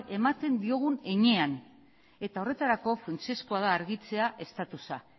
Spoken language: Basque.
ematen diogun heinean eta horretarako funtsezkoa da argitzea estatusa